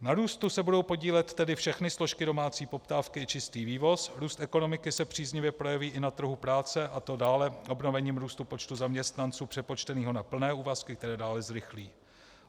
Na růstu se budou podílet tedy všechny složky domácí poptávky i čistý vývoz, růst ekonomiky se příznivě projeví i na trhu práce, a to dále obnovením růstu počtu zaměstnanců přepočteného na plné úvazky, které dále zrychlí.